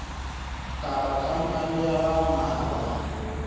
kapa khampani ya ba mmalwa